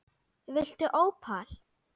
Viltu ópal?